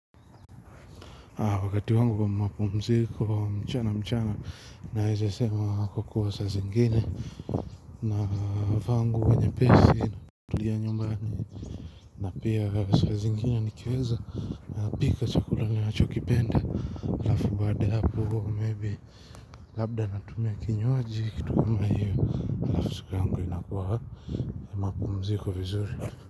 Wakati wangu wa mapumziko wa mchana mchana naweza sema kukuwa saa zingine na vaa nguo nyepesi natulia nyumbani na pia saa zingine nikiweza napika chakula nachokipenda alafu baada ya hapo maybe labda natumia kinywaji kitu kama hiyo na siku yangu inakuwa ya mapumziko vizuri.